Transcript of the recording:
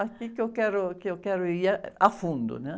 Aqui que eu quero, que eu quero ir, ah, a fundo, né?